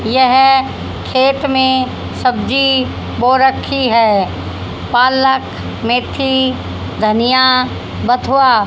यह खेत में सब्जी बो रखी है पालक मेथी धनिया बथुआ--